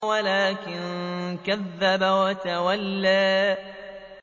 وَلَٰكِن كَذَّبَ وَتَوَلَّىٰ